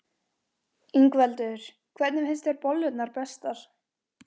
Ingveldur: Hvernig finnst þér bollurnar bestar?